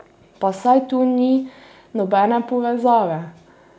Pa saj tu ni nobene povezave!